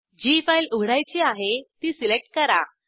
जी file उघडायची आहे ती सिलेक्ट करा